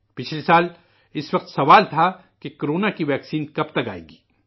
پچھلے سال اس وقت سوال تھا کہ کو رونا کی ویکسین کب تک آئے گی